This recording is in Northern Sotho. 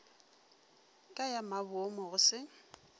ka ya maboomo go se